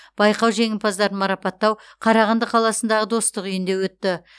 байқау жеңімпаздарын марапаттау қарағанды қаласындағы достық үйінде өтті